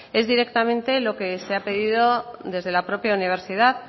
es directamente lo que se ha pedido desde la propia universidad